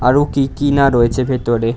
আরো কি কি না রয়েছে ভেতরে।